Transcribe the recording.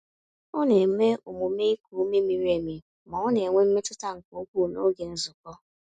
Ọ na-eme omume iku ume miri emi ma ọ n'enwe mmetụta nke ukwuu n'oge nzukọ.